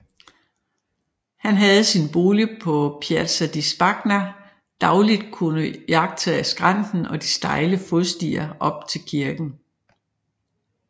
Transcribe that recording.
Han havde fra sin bolig på Piazza di Spagna dagligt kunnet iagttage skrænten og de stejle fodstier op til kirken